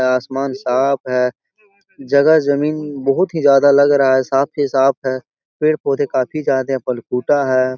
आसमान साफ है जगह जमीन बहुत ही ज्यादा लग रहा है साफ ही साफ है पेड़-पोधे काफी ज्यादा है ।